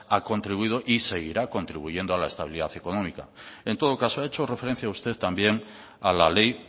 ha contribuido y seguirá contribuyendo a la estabilidad económica en todo caso ha hecho referencia usted también a la ley